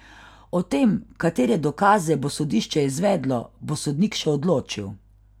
O tem, katere dokaze bo sodišče izvedlo, bo sodnik še odločil.